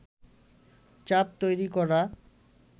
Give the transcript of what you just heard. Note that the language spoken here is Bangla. চাপ তৈরী করা